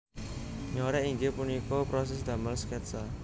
Nyorèk inggih punika proses damel sketsa